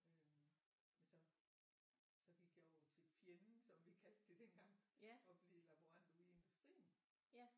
Men så så gik jeg jo til fjenden som vi kaldte det dengang og blev laborant ude i industrien